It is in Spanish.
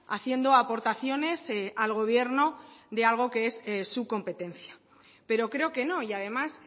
haciendo aportaciones al gobierno de algo que es de su competencia pero creo que no y además